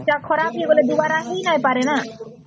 ଖରାପ ହେଇଗଲେ ଦୁବାର ନାଇଁ ହାପରେ ନ